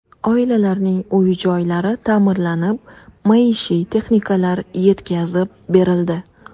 Oilalarning uy-joylari ta’mirlanib, maishiy texnikalar yetkazib berildi.